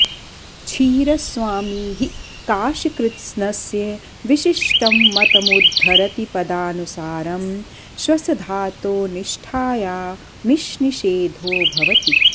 क्षीरस्वामी हि काशकृत्स्नस्य विशिष्टं मतमुद्धरति पदानुसारं श्वसधातोनिष्ठायामिष्निषेधो भवति